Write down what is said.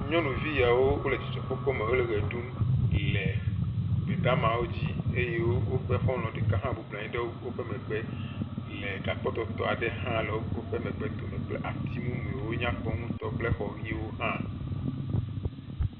Nyɔnivi yawo wo le dzidzɔɔkpɔkpɔ me wo le ʋe ɖum yi le gbedamawo dzi eye woƒe xɔlɔ̃ ɖeka hã bɔbɔnɔ anyi ɖe woƒe mgbe le gakpɔtɔtɔ aɖe hã le woƒe megbe kple ati mumu yiwo nyakpɔ ŋutɔ kple exɔwo hã.